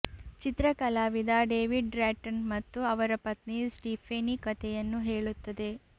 ಚಿತ್ರ ಕಲಾವಿದ David Drayton ಮತ್ತು ಅವರ ಪತ್ನಿ ಸ್ಟಿಫೇನಿ ಕಥೆಯನ್ನು ಹೇಳುತ್ತದೆ